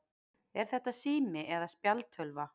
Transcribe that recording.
Er þetta sími eða spjaldtölva?